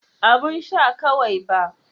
Abun sha kawai ba.